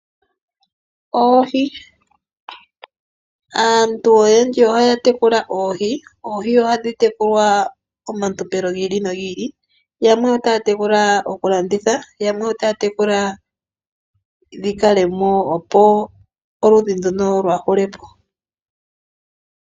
Oohi aantu oyendji ohaya tekula oohi. Oohi ohadhi tekulwa omatompelo giili nogiili. Yamwe ota ya tekula oku landitha, yamwe ota tekula dhi kalemo opo oludhi ndono lwaahulepo.